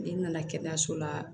N'i nana kɛnɛyaso la